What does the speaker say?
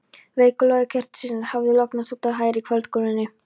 Veikur logi kertisins hafði lognast út af í hægri kvöldgolunni.